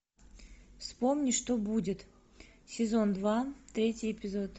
вспомни что будет сезон два третий эпизод